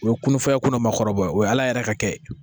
O ye kunun fɔlɔ ye kunna maakɔrɔba o ye ala yɛrɛ ka kɛ